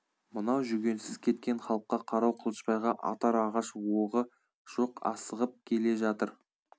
мынау жүгенсіз кеткен халыққа қарау қылышбайға атар ағаш оғы жоқ асығып келе жатыр